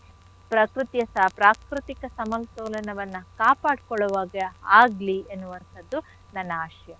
ಪ್ರಕೃತಿಯಸ ಪ್ರಾಕೃತಿಕ ಸಮತೋಲನವನ್ನ ಕಾಪಾಡ್ಕೊಳೋ ಹಾಗೆ ಆಗ್ಲಿ ಎನ್ನುವಂಥದ್ದು ನನ್ನ ಆಶಯ.